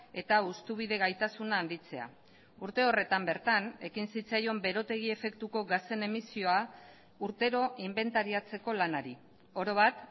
eta hustubide gaitasuna handitzea urte horretan bertan ekin zitzaion berotegi efektuko gasen emisioa urtero inbentariatzeko lanari orobat